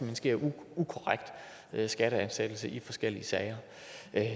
hen sker ukorrekt skatteansættelse i forskellige sager